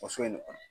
Waso in de kɔnɔ